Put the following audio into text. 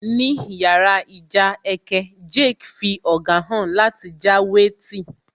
Ní yàrá ìjà ẹkẹ, Jake fí ọ̀gá hàn láti já wé tí